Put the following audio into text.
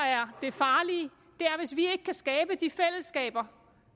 er det farlige er hvis vi ikke kan skabe de fællesskaber